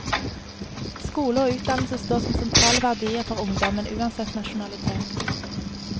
Skole og utdannelse står som sentrale verdier for ungdommen, uansett nasjonalitet.